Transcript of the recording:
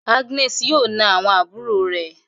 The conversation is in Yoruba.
Agnes yóò nà àwọn àbúrò re